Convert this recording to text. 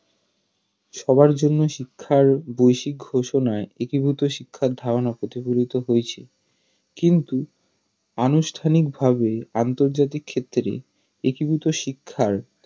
সবার জন্য শিক্ষা ঘোষনায় একীভূত শিক্ষার ধারনা প্রতিফলিত হয়েছে কিন্তু আনুষ্ঠানিকভাবে আন্তর্জাতিক ক্ষেত্রে একীভূত শিক্ষার